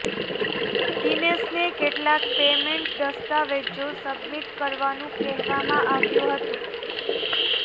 દિનેશને કેટલાક પેમેન્ટ દસ્તાવેજો સબમિટ કરવાનું કહેવામાં આવ્યું હતું